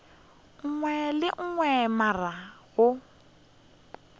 nngwe le ye nngwe morago